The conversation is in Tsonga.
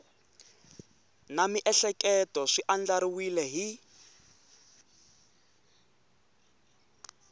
na miehleketo swi andlariwile hi